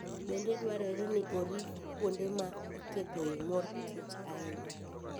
Bende dwarore ni orit kuonde ma iketoe mor kich ahinya.